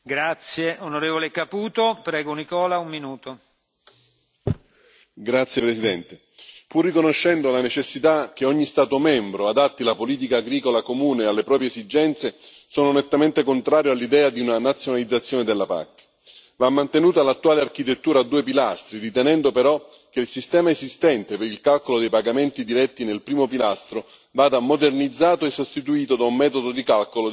Signor Presidente, onorevoli colleghi, pur riconoscendo la necessità che ogni Stato membro adatti la politica agricola comune alle proprie esigenze, sono nettamente contrario all'idea di una nazionalizzazione della PAC. Va mantenuta l'attuale architettura a due pilastri, ritenendo però che il sistema esistente per il calcolo dei pagamenti diretti nel primo pilastro vada modernizzato e sostituito da un metodo di calcolo dei pagamenti a livello europeo.